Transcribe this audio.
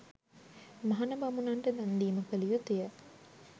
මහණ බමුණන්ට දන් දීම කළ යුතුය.